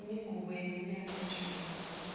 imigubho yeminyaka yeshumi